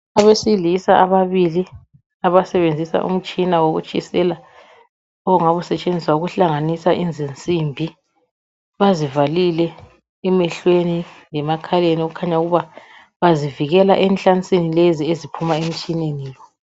Abesilisa ababili abasenzisa umtshina wokutshisela ongabu usetshenziswa ukuhlanganisa izinsimbi, bazivalile emehlweni lemakhaleni okukhanya ukuba ukuzivikela enhlansini eziphuma emtshineni lo.